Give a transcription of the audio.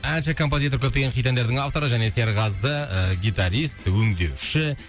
әнші композитор көптеген хит әндердің авторы және серғазы ы гитарист өңдеуші